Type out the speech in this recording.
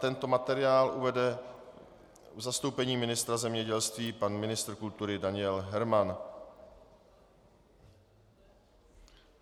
Tento materiál uvede v zastoupení ministra zemědělství pan ministr kultury Daniel Herman.